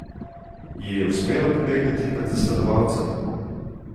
Ji je uspelo pobegniti pred zasledovalcem?